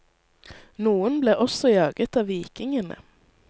Noen ble også jaget av vikingene.